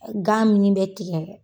Gan min bɛ tigɛ.